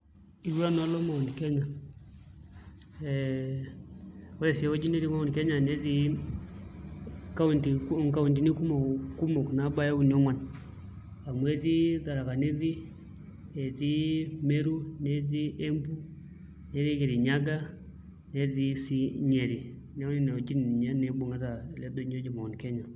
Itu nanu alo Mount Kenya ee ore sii ewuei netii Mount Kenya netii kaunti, nkauntini kumok naabaya uni ongwan amu etii Tharaka nithi, etii Meru, netii Embu netii Kirinyaga netii sii Nyeri, neeku nena wuejitin ninye naa ibung'ita ele doinyio oji Mount Kenya.